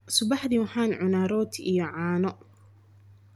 Subaxdii waxaan cunaa rooti iyo caano.